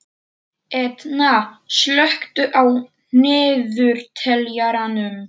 Etna, slökktu á niðurteljaranum.